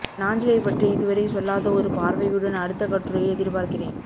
நாஞ்சிலைப் பற்றி இதுவரை சொல்லாத ஒரு பார்வையுடன் அடுத்த கட்டுரையை எதிர்பார்க்கிறேன்